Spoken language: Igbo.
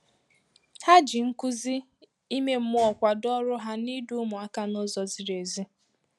Ha ji nkuzi ime mmụọ kwado ọrụ hà n’ịdu ụmụaka n’ụzọ zìrì ezi.